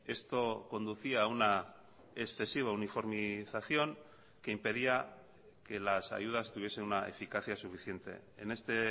esto conducía a una excesiva uniformización que impedía que las ayudas tuviesen una eficacia suficiente en este